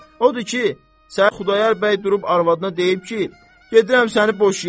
Odur ki, sən Xudayar bəy durub arvadına deyib ki, gedirəm səni boşuyam.